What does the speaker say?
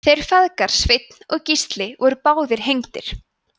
þeir feðgar sveinn og gísli voru báðir hengdir